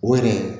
O yɛrɛ